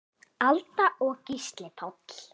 Alda og Gísli Páll.